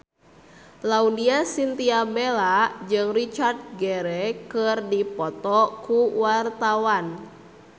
Laudya Chintya Bella jeung Richard Gere keur dipoto ku wartawan